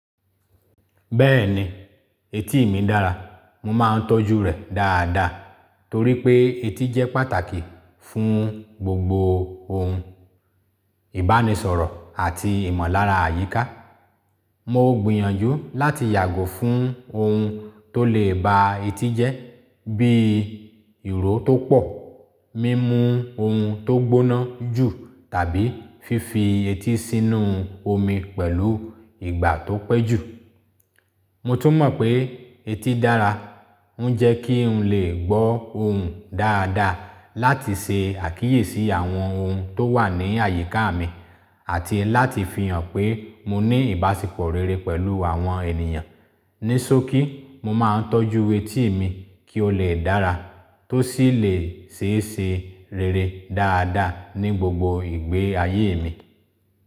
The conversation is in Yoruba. Bẹ́ẹ̀ni, etí mi dára, mo máa ń tọ́jú rẹ̀ dáadáa torí pé etí jẹ́ pàtàkì fún gbogbo ohun, ìbánisọ̀rọ̀ àti ìmọ̀lára àyíká. Mo gbìyànjú láti yàgò fún ohun tó lè ba etí jẹ́ bíi ìró tó pọ̀, mímu ohun tó gbóná jù tàbí fífi etí sínú omi pẹ̀lú ìgbà tó pẹ́ jù. Mo tún mọ̀ pé etí dára, ó ń jẹ́ kí n lè gbọ́ ohùn dáadáa láti ṣe àkíyèsí àwọn ohun tó wà ní àyíká mi àti láti fi hàn pé mo ní ìbáṣepọ̀ rere pẹ̀lú àwọn ènìyàn. Ní sókí, mo máa ń tọ́jú etí mi kí ó lè dára tó sì lè ṣeéṣe rere dáadáa ní gbogbo ìgbé ayé mi.